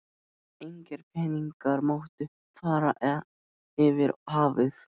Engir peningar máttu fara yfir hafið.